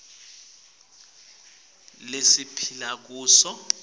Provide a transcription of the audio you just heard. kulesikhatsi lesiphila kuso